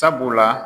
Sabula